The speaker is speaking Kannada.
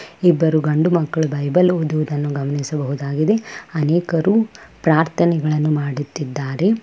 ಇಬ್ಬರು ಗಂಡು ಮಕ್ಕಳು ಬೈಬಲ್ ಓದುವುದನ್ನು ಗಮನಿಸಬಹುದಾಗಿದೆ ಅನೇಕರು ಪ್ರಾರ್ಥನೆಗಳನ್ನು ಮಾಡುತ್ತಿದ್ದಾರೆ.